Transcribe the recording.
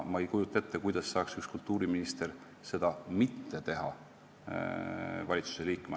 Ma ei kujuta ette, kuidas saaks kultuuriminister valitsusliikmena seda mitte teha.